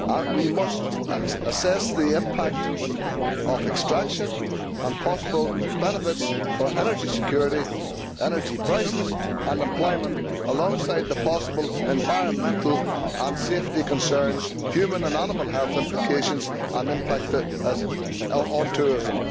We must assess the impact of extraction and possible benefits for energy security, energy prices and employment alongside the possible environmental and safety concerns, human and animal health implications and the impact on tourism.